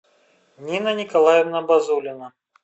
нина николаевна базулина